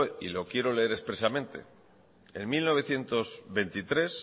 y lo quiero leer expresamente en mil novecientos veintitrés